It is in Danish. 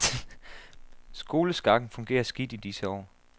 Skoleskakken fungerer skidt i disse år.